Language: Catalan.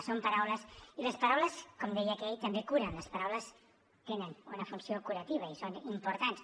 són paraules i les paraules com deia aquell també curen les paraules tenen una funció curativa i són importants